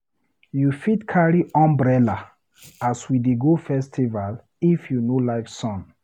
You fit carry umbrella as we dey go festival if you no like sun.